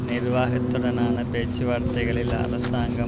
நிர்வாகத்துடனான பேச்சுவார்த்தைகளில் அரசாங்கம்